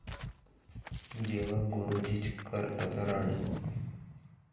जेव्हा गुरुजीच करतात राडा!